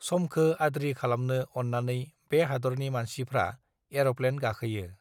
समखो आद्रि खालामनो अत्रानै बे हादरनि मानषिफ्रा एरप्लेन गाखोयो